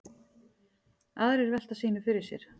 Aðrir velta sínu fyrir sér.